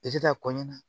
ta kɔnni na